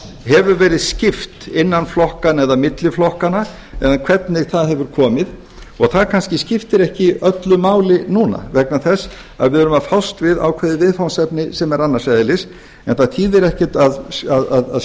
hefur verið skipt innan flokkanna eða milli flokkanna eða hvernig það hefur komið og það kannski skiptir ekki öllu máli núna vegna þess að við erum að fást við ákveðið viðfangsefni sem er annars eðlis en það þýðir ekkert að